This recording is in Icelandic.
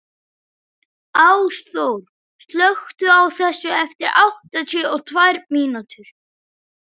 Ásþór, slökktu á þessu eftir áttatíu og tvær mínútur.